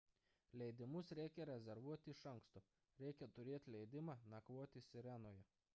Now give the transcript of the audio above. leidimus reikia rezervuoti iš anksto reikia turėti leidimą nakvoti sirenoje